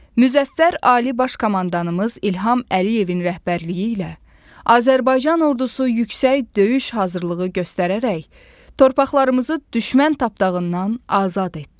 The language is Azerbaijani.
Müzəffər Ali Baş Komandanımız İlham Əliyevin rəhbərliyi ilə Azərbaycan Ordusu yüksək döyüş hazırlığı göstərərək torpaqlarımızı düşmən tapdağından azad etdi.